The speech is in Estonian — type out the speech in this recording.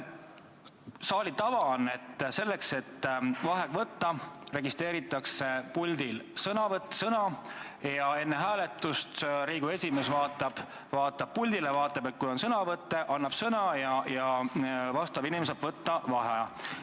Saali tava on, et selleks, et vaheaeg võtta, registreeritakse puldil sõnavõtt ja enne hääletust Riigikogu esimees vaatab puldile ja kui on sõnavõtusoove, siis annab sõna ja inimene saab paluda vaheaega.